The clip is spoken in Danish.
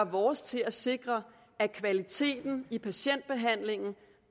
vores til at sikre at kvaliteten i patientbehandlingen